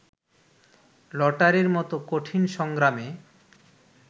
লটারির মতো কঠিন সংগ্রামে